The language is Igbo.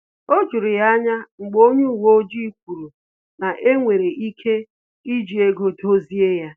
O juru ya anya mgbe onye uwe ojii kwuru na enwere ike iji ego dozie ya